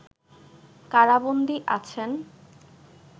কারাবন্দী আছেন